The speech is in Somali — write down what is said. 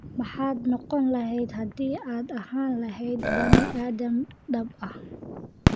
maxaad noqon lahayd hadii aad ahaan lahayd bani aadam dhab ah?